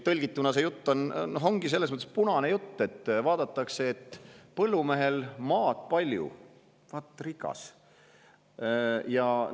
Tõlgituna see ongi selles mõttes punane jutt, et vaadatakse, et põllumehel on palju maad – vaat rikas!